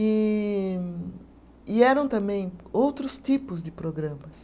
E e eram também outros tipos de programas.